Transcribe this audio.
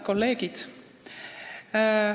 Head kolleegid!